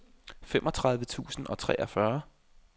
femogtredive tusind og treogfyrre